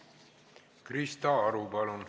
Krista Aru, palun!